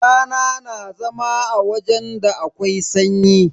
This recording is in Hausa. Tana na zama wajen da akwai sanyi.